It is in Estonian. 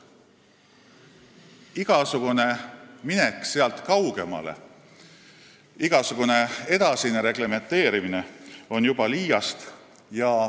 Igasugune minek sealt kaugemale, igasugune edasine reglementeerimine on juba liiast.